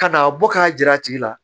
Ka n'a bɔ k'a jira a tigi la